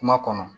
Kuma kɔnɔ